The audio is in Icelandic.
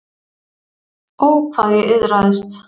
Ó, hvað ég iðraðist.